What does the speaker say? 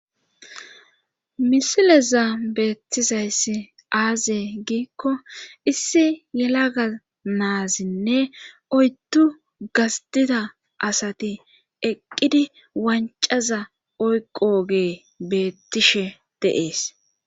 Misileza beettizayssi aaze giikko issi yelaga naazinne oyttu gasdida asati eqqidi wancaza oyqoge beettishe dees.